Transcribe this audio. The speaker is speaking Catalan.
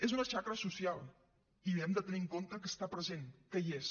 és una xacra social i hem de tenir en compte que està present que hi és